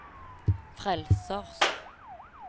frelsers